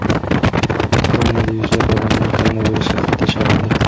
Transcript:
Ukrainada yuzlab odamlar koronavirusga qayta chalindi.